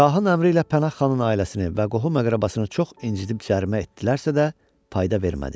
Şahın əmri ilə Pənah xanın ailəsini və qohum-əqrəbasını çox incədib cərimə etdilərsə də, fayda vermədi.